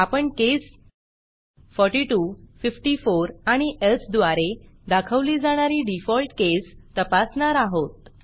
आपण केस 42 54 आणि elseएल्स द्वारे दाखवली जाणारी डिफॉल्ट केस तपासणार आहोत